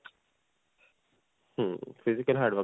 Hmm physical hard work.